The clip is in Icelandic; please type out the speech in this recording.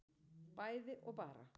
bæði og bara